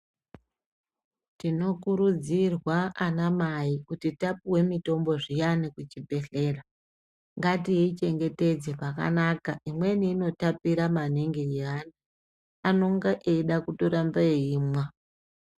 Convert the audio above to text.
Tinokurudzirwa anamai kuti tapuwe mitombo zviyani kuchibhedhlera ngatiichengetedze pakanaka. Imweni inotapira maningi yeana, anonga eida kutoramba eimwa.